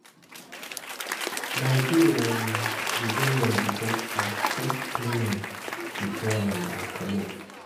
My day um dey go well because I first plan am before um I comot.